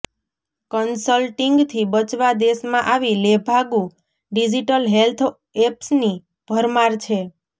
કન્સલ્ટીંગથી બચવા દેશમાં આવી લેભાગુ ડીજીટલ હેલ્થ એપ્સની ભરમાર છે